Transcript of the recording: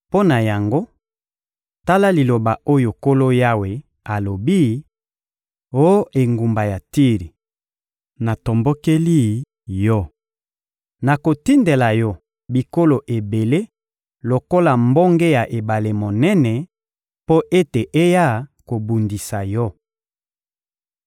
Mpo na yango, tala liloba oyo Nkolo Yawe alobi: Oh engumba ya Tiri, natombokeli yo! Nakotindela yo bikolo ebele lokola mbonge ya ebale monene, mpo ete eya kobundisa yo.